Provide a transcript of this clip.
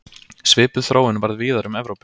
Svipuð þróun varð víðar um Evrópu.